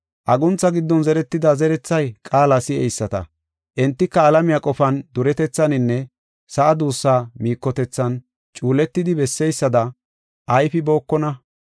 Aguntha giddon zeretida zerethay qaala si7eyisata. Entika alamiya qofan, duretethaninne sa7a duussaa miikotethan cuuletidi besseysada ayfibookona.